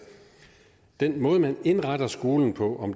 den måde man indretter skolen på